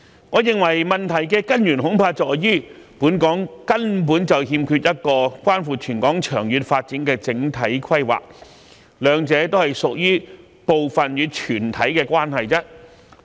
我認為問題的根源恐怕在於，本港根本欠缺一個關乎全港長遠發展的整體規劃，兩者屬於部分與全體的關係。